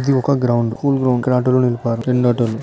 ఇది ఒక ground school ground ఇక్కడ ఆటో లు నిలిపారు రెండు ఆటోలు